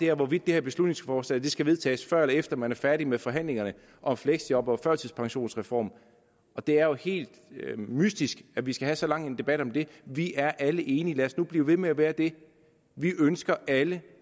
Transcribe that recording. er hvorvidt det her beslutningsforslag skal vedtages før eller efter man er færdig med forhandlingerne om fleksjob og førtidspensionsreform og det er jo helt mystisk at vi skal have så lang en debat om det vi er alle enige lad os nu blive ved med at være det vi ønsker alle